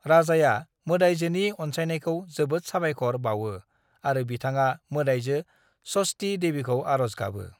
राजाया मोदायजोनि अनसायनायखौ जोबोद साबायखर बावो आरो बिथाङा मोदायजो षष्ठी देवीखौ आर'ज गाबो।